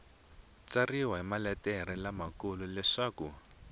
tsariwa hi maletere lamakulu leswaku